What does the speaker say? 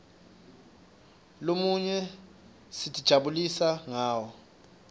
lomunye sitijabulisa ngawo